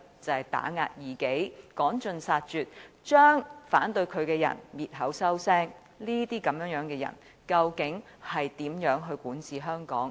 就是打壓異己、趕盡殺絕，將反對他的人滅口滅聲，這樣的人究竟如何管治香港？